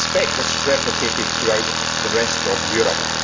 I suspect this is replicated throughout the rest of Europe.